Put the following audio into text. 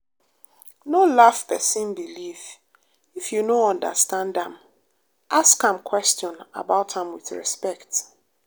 no laff pesin believe if you no understand am ask am question about am with respect.